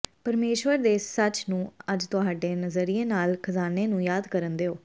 ਪਰਮੇਸ਼ੁਰ ਦੇ ਸੱਚ ਨੂੰ ਅੱਜ ਤੁਹਾਡੇ ਨਜ਼ਰੀਏ ਨਾਲ ਖ਼ਜ਼ਾਨੇ ਨੂੰ ਯਾਦ ਕਰਨ ਦਿਓ